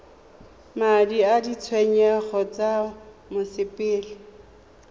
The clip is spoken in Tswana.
madi a ditshenyegelo tsa mosepele